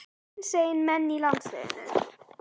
Hinsegin menn í landsliðinu?